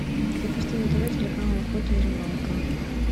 запусти на тв телеканал охота и рыбалка